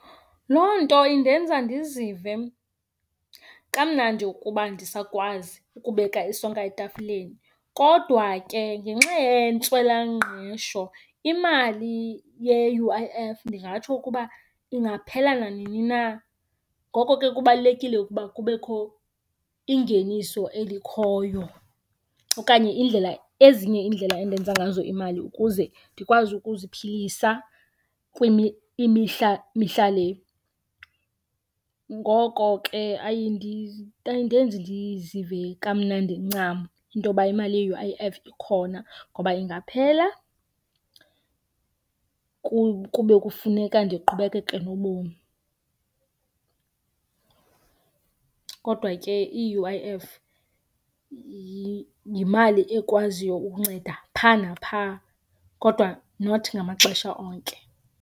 Loo nto indenza ndizive kamnandi ukuba ndisakwazi ukubeka isonka etafileni kodwa ke ngenxa yentswelangqesho imali ye-U_I_F ndingatsho ukuba ingaphela nanini na. Ngoko ke kubalulekile ukuba kubekho ingeniso elikhoyo okanye indlela, ezinye iindlela endenza ngazo imali ukuze ndikwazi ukuziphilisa mihla le. Ngoko ke ayindenzi ndizive kamnandi ncam into yoba imali ye-U_I_F ikhona ngoba ingaphela kube kufuneka ndiqhubekeke nobomi. Kodwa ke i-U_I_F yimali ekwaziyo ukunceda phaa naphaa kodwa not ngamaxesha onke.